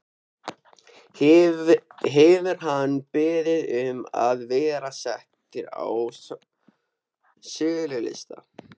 Hefur hann beðið um að vera settur á sölulista?